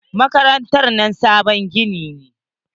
Makarantar nan sabon gini ne.